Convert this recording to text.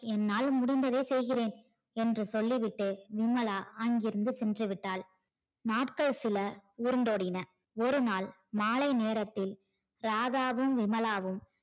என்னால் முடிந்ததை செய்கிறேன் என்று சொல்லிவிட்டு விமலா அங்கிருந்து சென்று விட்டால் நாட்கள் சில உருண்டு ஓடின ஒரு நாள் மாலை நேரத்தில் ராதாவும் விமலாவும்